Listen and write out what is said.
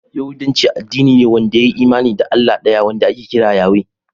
Yahudanci addini ne wanda ya yi imani da Allah ɗaya wanda ake kira Yahweh.